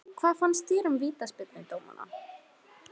Hvað fannst þér um vítaspyrnudómana?